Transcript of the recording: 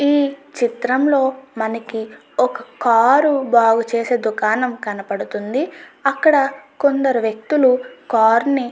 ఈ చిత్రం లో మనకి ఒక కార్ బాగు చేసే దుకాణం కనిపిస్తుంది అక్క్కడ కొందరు వ్యక్తులు కార్ ని --